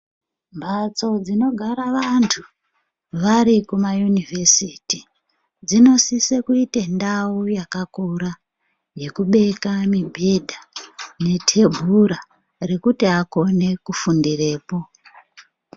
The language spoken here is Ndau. Mhatso dzinogara vantu varikuma yunivhesiti, dzinosise kuite ndau yakakura yekubeka mibhedha netebura rekuti akone kifundirepo.